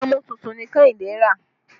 Àgàmú tuntun ni Kehinde rà